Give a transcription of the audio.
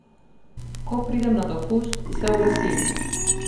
Ko pridem na dopust, se oglasim.